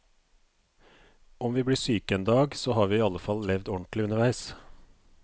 Om vi blir syke en dag, så har vi i alle fall levd ordentlig underveis.